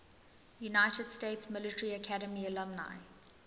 united states military academy alumni